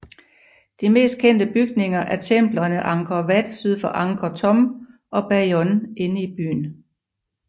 De mest kendte bygninger er templerne Angkor Wat syd for Angkor Thom og Bayon inde i byen